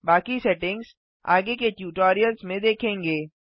बाकी सेटिंग्स आगे के ट्यूटोरियल्स में देखेंगे